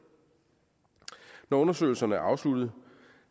når undersøgelserne er afsluttet